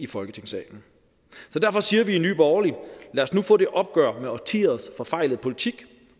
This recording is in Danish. folketingssalen derfor siger vi i nye borgerlige lad os nu få det opgør med årtiers forfejlede politik